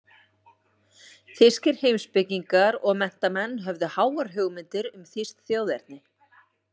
Þýskir heimspekingar og menntamenn höfðu háar hugmyndir um þýskt þjóðerni.